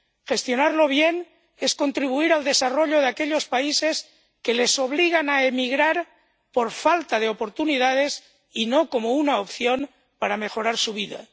Gestionarlo bien es contribuir al desarrollo de aquellos países que les obligan a emigrar por falta de oportunidades y no como una opción para mejorar su vida.